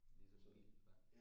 Ligesom en bil faktisk